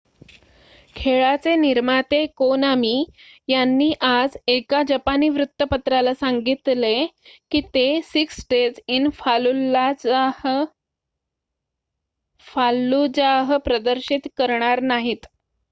खेळाचे निर्माते कोनामी यांनी आज एका जपानी वृत्तपत्राला सांगितले की ते सिक्स डेज इन फाल्लुजाह प्रदर्शित करणार नाहीत